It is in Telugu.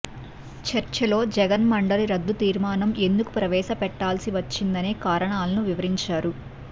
చర్చలో జగన్ మండలి రద్దు తీర్మానం ఎందుకు ప్రవేశపెట్టాల్సి వచ్చిందనే కారణాలను వివరించారు